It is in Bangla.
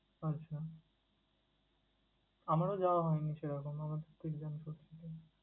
আচ্ছা, আমারও যাওয়া হয়নি সেরকমভাবে exam চলছিলো।